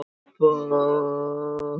Karlinn staulaðist í burtu þegar hann sá að